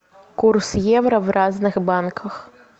курс евро в разных банках